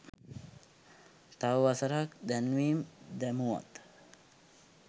තව වසරක් දැන්වීම් දැමුවත්